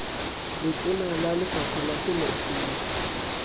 letona la lefapha la temothuo